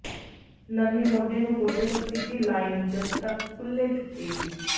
ਨਰਮੀ ਮੋਢੇ ਨੂੰ ਗੋਡੇ ਤੱਕ ਸਿੱਧੀ ਲਾਈਨ ਜਦ ਤੱਕ ਕੁੱਲ੍ਹੇ ਚੁੱਕੇਗੀ